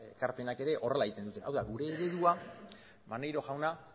ekarpenak ere horrela egiten dute hau da gure eredua maneiro jauna